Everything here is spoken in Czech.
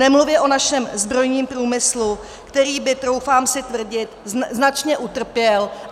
Nemluvě o našem zbrojním průmyslu, který by, troufám si tvrdit, značně utrpěl.